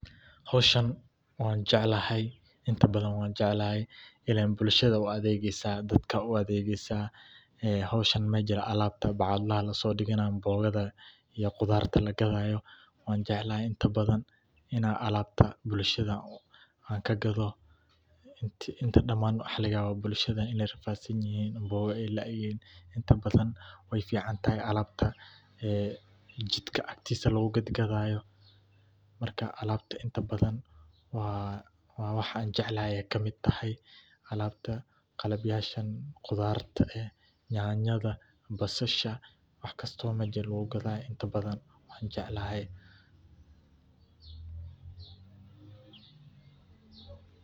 Howshaan waan jeclahay, inta badan waan jeclahay ileen bulshada u adeegeeysaa, dadka u adeegeeysaa, howshaan meja bacadlaha lasoo diganaa cambogada iyo qudaarta lagadaayo waan jeclahay inta badan inaan alabta bulshada aan kagado inta diman waxaa laga yaabaa bulshada inaay rafaad sanyihiin camboga aay laayihiin inta badan wey ficantahay alaabta ee jidka agtiisa lagu gadgadaayo, marka alabta inta badan waa wax aan jeclahay kamid tahay, alabta, qalab yashaan qudaarta ah nyanyada, basasha wax kastoo meja lagu gadaayo inta badan waan jeclahay.